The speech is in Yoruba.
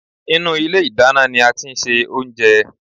Inú ilé ìdáná ní a tí ń ṣe oúnjẹ.